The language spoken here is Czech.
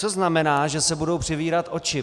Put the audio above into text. Co znamená, že se budou přivírat oči?